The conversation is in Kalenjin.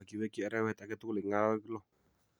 Ak iweekyi arawet age tugul eng' arawek lo.